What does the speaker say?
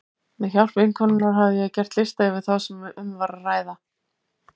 Með hjálp vinkonunnar hafði ég gert lista yfir þá sem um var að ræða.